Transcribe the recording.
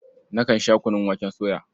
Nakan sha kunun waken soya.